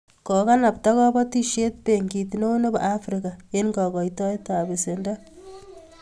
Kokanabta kobotisiet benkit neo nebo afrika eng kokoitoetab besendo